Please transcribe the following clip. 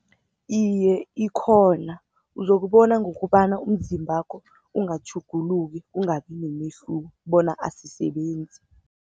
Iye, ikhona uzokubona ngokobana, umzimbakho ungatjhuguluki kungabi nomehluko bona azisebenzi.